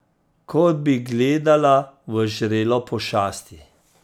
Kot bi gledala v žrelo pošasti.